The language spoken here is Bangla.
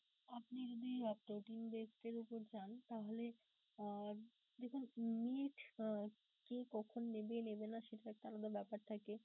আপনি যদি আহ protein এর উপর চান তাহলে আহ দেখুন কে কখন নেবে নেবে না সেটা একটা আলাদা ব্যাপার থাকে.